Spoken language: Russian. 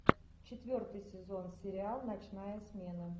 четвертый сезон сериал ночная смена